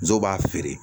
Musow b'a feere